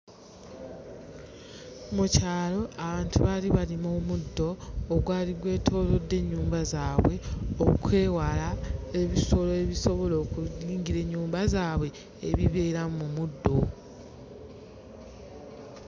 Mu kyalo abantu baali balima omuddo ogwali gwetoolodde ennyumba zaabwe okwewala ebisolo ebisobola okuyingira ennyumba zaabwe ebibeera mu muddo.